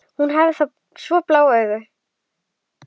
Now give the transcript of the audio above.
Hún hafði svo blá augu.